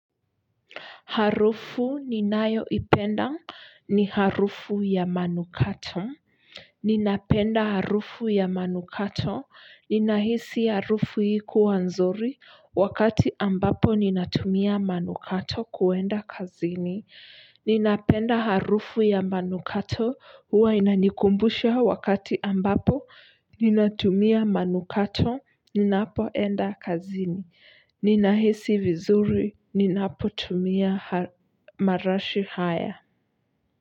Harufu ninayoipenda ni harufu ya manukato. Ninapenda harufu ya manukato. Ninahisi harufu hii kuwa nzuri wakati ambapo ninatumia manukato kuenda kazini ninapenda harufu ya manukato huwa inanikumbusha wakati ambapo ninatumia manukato ninapoenda kazini. Ninahisi vizuri, ninapotumia marashi haya.